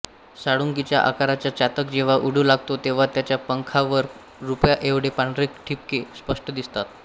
साळुंकीच्या आकाराचा चातक जेव्हा उडू लागतो तेव्हा त्याच्या पंखांवर रुपयाएवढे पांढरे ठिपके स्पष्ट दिसतात